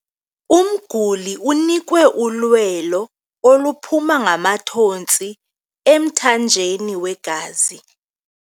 Umguli unikwe ulwelo oluphuma ngamathontsi emthanjeni wegazi.